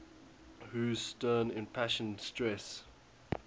whose stern impassioned stress